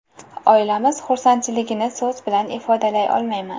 Oilamiz xursandchiligini so‘z bilan ifodalay olmayman.